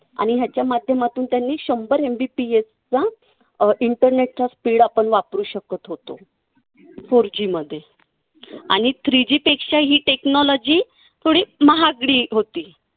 आणि याच्या माध्यमातून त्यांनी शंभर MBPS चा अं internet चा speed आपण वापरू शकत होतो. four G मध्ये. आणि three G पेक्षा ही technology थोडी महागडी होती.